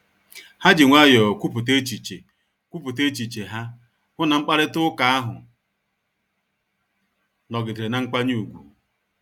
Ha ji nwayọọ kwupụta echiche kwupụta echiche ha, hụ na mkparịta ụka ahụ nọgidere na mkwanye ùgwù